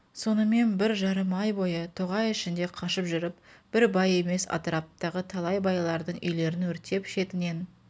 сонымен бір жарым ай бойы тоғай ішінде қашып жүріп бір бай емес атыраптағы талай байлардың үйлерін өртеп шетінен